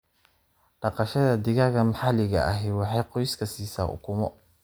Dhaqashada digaaga maxaliga ahi waxay qoyska siisaa ukumo.